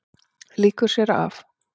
Lýkur sér af.